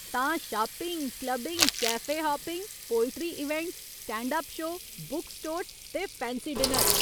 तां, shopping, clubbing, cafe hopping, poetry events, stand up show, book stores ते fancy dinner.